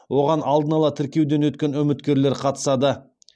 оған алдын ала тіркеуден өткен үміткерлер қатысады